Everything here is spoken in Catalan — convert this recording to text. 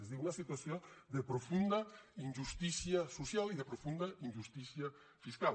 és a dir una situació de profunda injustícia social i de profunda injustícia fiscal